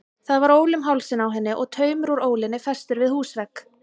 Það var ól um hálsinn á henni og taumur úr ólinni festur við húsvegg.